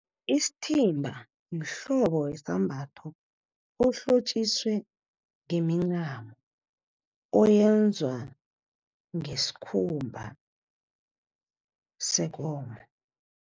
Isithimba mhlobo wesambatho, ohlotjiswe ngemincamo. Oyenzwa ngesikhumba sekomo.